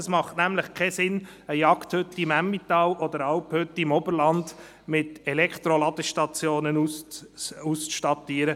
Es macht keinen Sinn, eine Jagdhütte im Emmental oder eine Alphütte im Oberland mit Elektroladestationen auszustatten.